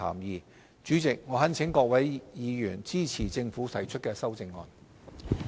代理主席，我懇請各位委員支持政府提出的修正案。